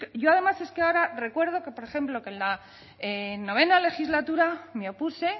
yo además es que ahora recuerdo que por ejemplo que en la novena legislatura me opuse